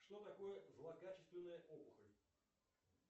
что такое злокачественная опухоль